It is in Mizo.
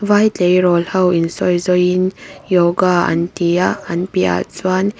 vai tleirawl ho in sawi zawi in yoga an ti a an piah ah chuan--